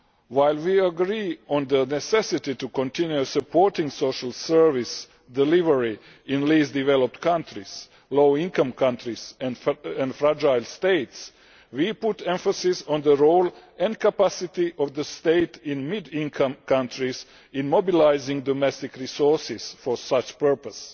While we agree on the necessity to continue supporting social service delivery in the least developed countries, low income countries and fragile states, we put emphasis on the role and capacity of the state in middle income countries to mobilise domestic resources for such purposes.